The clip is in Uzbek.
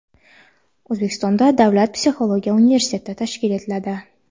O‘zbekistonda davlat psixologiya universiteti tashkil etiladi.